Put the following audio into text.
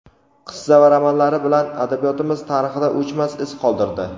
qissa va romanlari bilan adabiyotimiz tarixida o‘chmas iz qoldirdi.